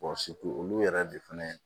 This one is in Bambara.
olu yɛrɛ de fɛnɛ